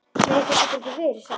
Nei, það getur ekki verið satt.